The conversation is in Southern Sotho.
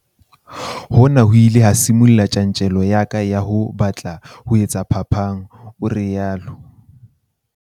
"Hona ho ile ha sibolla tjantjello ya ka ya ho batla ho etsa phapang," o rialo.